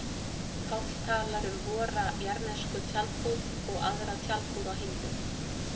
Páll talar um vora jarðnesku tjaldbúð og aðra tjaldbúð á himnum.